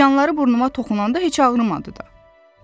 Tikanları burnuma toxunanda heç ağrımadı da.